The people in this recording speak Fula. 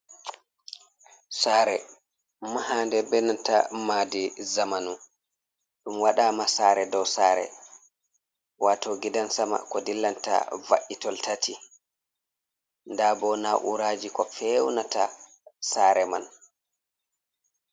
Saare mahaande benanta maadi zamanu, ɗum waɗama saare doo saare, waato gidan sama ko dillanta va’itol tati nda bo na'uraji ko feunata saare man.